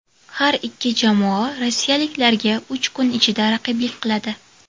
Har ikki jamoa rossiyaliklarga uch kun ichida raqiblik qiladi.